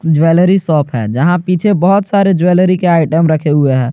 Jewellery shop है जहां पीछे बहुत सारे ज्वेलरी के आइटम रखे हुए हैं।